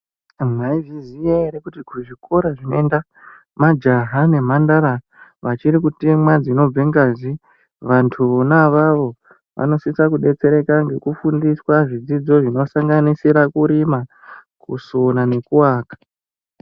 Mwaizviziya ere kuti kuzvikora zvinoenda majaha nemhandara vachiri kutemwa zvinobve ngazi vantu vona avavo vanosisa kudetsereka ngekufundiswa zvidzidzo zvinosanganisira kurima, kusona nekuaka.